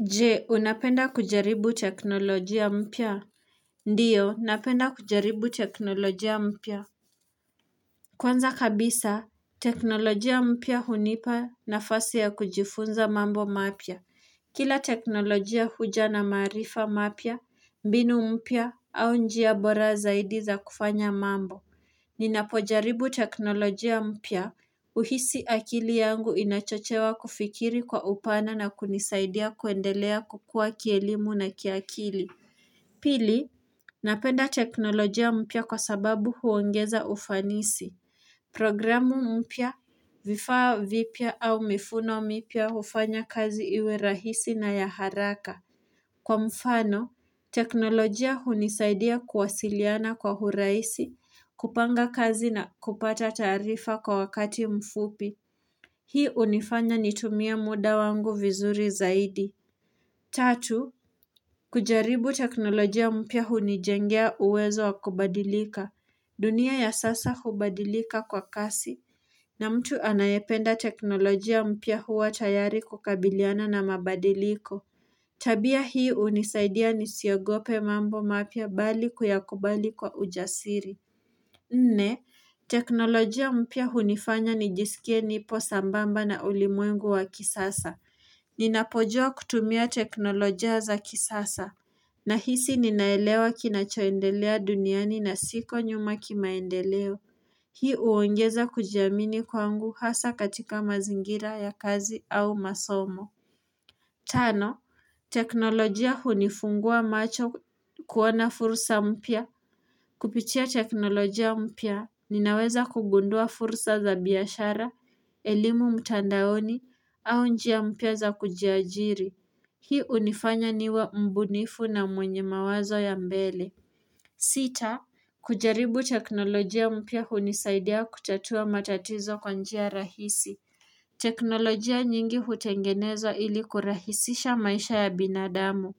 Jee unapenda kujaribu teknolojia mpya Ndiyo napenda kujaribu teknolojia mpya Kwanza kabisa teknolojia mpya hunipa nafasi ya kujifunza mambo mapya Kila teknolojia huja na maarifa mapya mbinu mpya au njia bora zaidi za kufanya mambo Ninapojaribu teknolojia mpya uhisi akili yangu inachochewa kufikiri kwa upana na kunisaidia kuendelea kukua kielimu na kiakili. Pili. Napenda teknolojia mpia kwa sababu huongeza ufanisi. Programu mpya. Vifaa vipia au mifuno mipia hufanya kazi iwe rahisi na ya haraka. Kwa mfano, teknolojia hunisaidia kuwasiliana kwa huraisi, kupanga kazi na kupata taarifa kwa wakati mfupi. Hii unifanya nitumia muda wangu vizuri zaidi. Tatu. Kujaribu teknolojia mpia huu nijengea uwezo wa kubadilika dunia ya sasa hubadilika kwa kasi na mtu anayependa teknolojia mpya huwa tayari kukabiliana na mabadiliko Tabia hii unisaidia nisiogope mambo mapya bali kuyakubali kwa ujasiri Nne, teknolojia mpya huu nifanya nijisikie nipo sambamba na ulimwengu wa kisasa Ninapojua kutumia teknolojia za kisasa na hisi ninaelewa kinachoendelea duniani na siko nyuma kimaendeleo. Hii uongeza kujiamini kwangu hasa katika mazingira ya kazi au masomo. Tano, teknolojia hunifungua macho kuona fursa mpya. Kupitia teknolojia mpya, ninaweza kugundua fursa za biashara, elimu mtandaoni, au njia mpya za kujiajiri. Hii unifanya niwale mbunifu na mwenye mawazo ya mbele. Sita, kujaribu teknolojia mpya hunisaidia kutatua matatizo kwanjia rahisi. Teknolojia nyingi hutengenezwa ili kurahisisha maisha ya binadamu.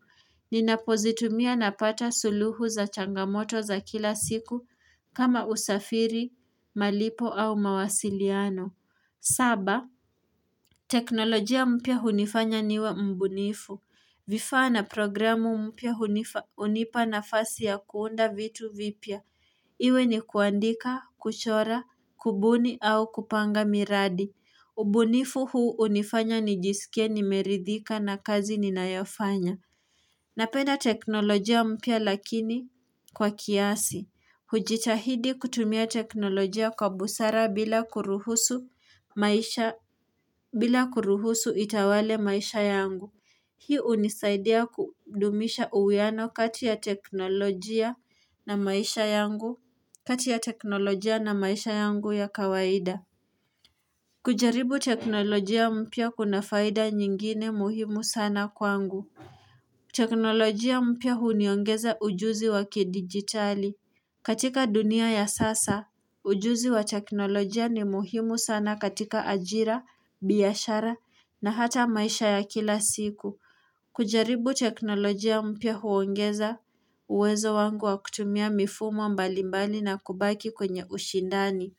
Ninapozitumia napata suluhu za changamoto za kila siku kama usafiri, malipo au mawasiliano. Saba, teknolojia mpya hunifanya niwe mbunitu mbunifu. Vifaa na programu hunipa nafasi ya kuunda vitu vipia. Iwe ni kuandika, kuchora, kubuni au kupanga miradi. Ubonifu huu unifanya nijisikia nimeridhika na kazi ninayofanya. Napenda teknolojia mpya lakini kwa kiasi. Kujitahidi kutumia teknolojia kwa busara bila kuruhusu maisha bila kuruhusu itawale maisha yangu. Hii unisaidia kudumisha uweano kati ya teknolojia na maisha yangu ya kawaida kujaribu teknolojia mpya kuna faida nyingine muhimu sana kwangu teknolojia mpya huniongeza ujuzi waki digitali katika dunia ya sasa, ujuzi wa teknolojia ni muhimu sana katika ajira, biashara na hata maisha ya kila siku kujaribu teknolojia mpya huongeza uwezo wako wa kutumia mifumo mbali mbali na kubaki kwenye ushindani.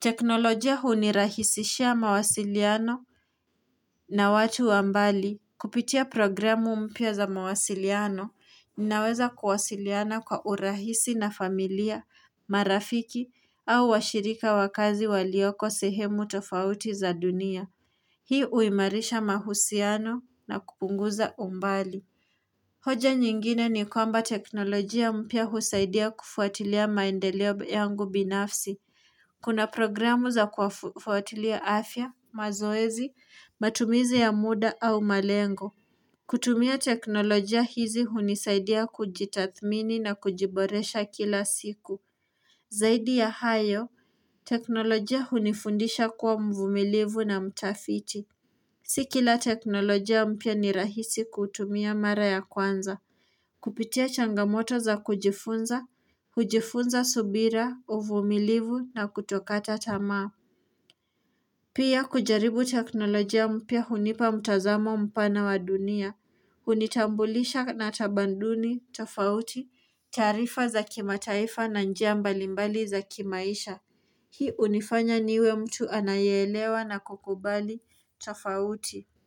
Teknolojia hunirahisishia mawasiliano na watu wambali. Kupitia programu mpya za mawasiliano ninaweza kuwasiliana kwa urahisi na familia, marafiki au washirika wakazi walioko sehemu tofauti za dunia. Hii uimarisha mahusiano na kupunguza umbali. Hoja nyingine ni kwamba teknolojia mpya husaidia kufuatilia maendeleo yangu binafsi Kuna programu za kufuatilia afya mazoezi matumizi ya muda au malengo kutumia teknolojia hizi hunisaidia kujitathmini na kujiboresha kila siku Zaidi ya hayo teknolojia hunifundisha kuwa mvumilivu na mtafiti Sikila teknolojia mpya ni rahisi kutumia mara ya kwanza Kupitia changamoto za kujifunza, kujifunza subira, uvumilivu na kutokata tamaa Pia kujaribu teknolojia mpya hunipa mtazamo mpana wa dunia Hunitambulisha na tabanduni tofauti, taarifa za kimataifa na njia mbalimbali za kimaisha Hii unifanya niwe mtu anayeelewa na kukubali tofauti Kwa hii.